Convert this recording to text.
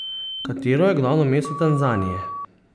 Katero je glavno mesto Tanzanije?